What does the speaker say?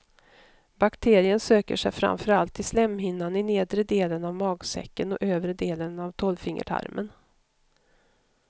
Bakterien söker sig framför allt till slemhinnan i nedre delen av magsäcken och övre delen av tolvfingertarmen.